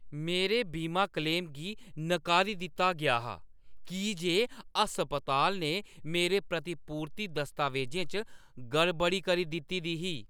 मेरे बीमा क्लेम गी नकारी दित्ता गेआ हा की जे अस्पताल ने मेरे प्रतिपूर्ति दस्तावेजें च गड़बड़ी करी दित्ती दी ही